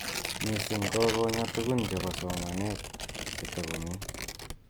Mising ko konya tugun chebo somanet che takomi